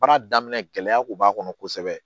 Baara daminɛ gɛlɛya kun b'a kɔnɔ kosɛbɛ